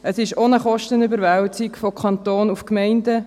Es ist auch eine Kostenüberwälzung vom Kanton auf die Gemeinden.